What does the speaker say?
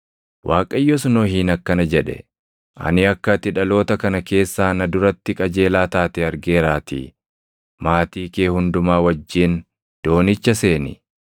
Waaqayyos Nohiin akkana jedhe; “Ani akka ati dhaloota kana keessaa na duratti qajeelaa taate argeeraatii maatii kee hundumaa wajjin doonicha seeni.